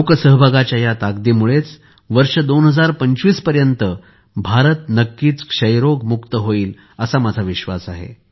लोकसहभागाच्या या ताकदीमुळे वर्ष २०२५ पर्यंत भारत नक्कीच क्षयरोग मुक्त होईल असा माझा विश्वास आहे